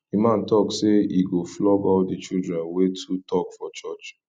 the man talk say he go flog all the children wey too talk for church